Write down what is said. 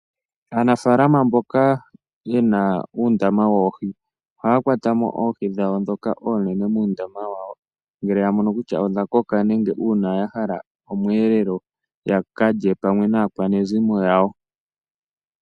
Aanafalama mboka ye na uundama woohi ohaya kwata mo oohi dhawo ndhoka oonene, ngele ya mono kutya odha koka uuna ya hala omweelelo ya ka lye pamwe naa kwanezimo lyawo.